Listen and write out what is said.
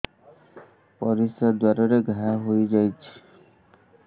ପରିଶ୍ରା ଦ୍ୱାର ରେ ଘା ହେଇଯାଇଛି